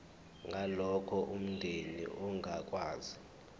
ngalokho umndeni ongakwazi